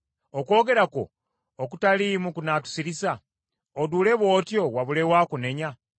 Okwogera kwo okutaliimu kunaatusirisa? Oduule bw’otyo wabulewo akunenya?